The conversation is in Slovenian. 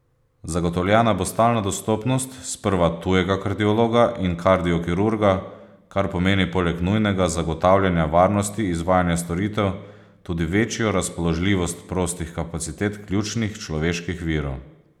Zagotovljena bo stalna dostopnost sprva tujega kardiologa in kardiokirurga, kar pomeni poleg nujnega zagotavljanja varnosti izvajanja storitev, tudi večjo razpoložljivost prostih kapacitet ključnih človeških virov.